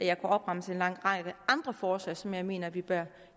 jeg opremse en lang række andre forslag som jeg mener vi bør